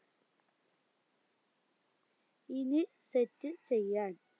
ഇനി set ചെയ്യാൻ